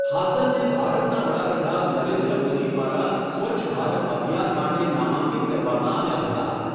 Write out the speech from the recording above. હાસનને ભારતના વડાપ્રધાન નરેન્દ્ર મોદી દ્વારા સ્વચ્છ ભારત અભિયાન માટે નામાંકિત કરવામાં આવ્યા હતા.